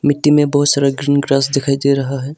मिट्टी में बहोत सारा ग्रीन ग्रास दिखाई दे रहा है।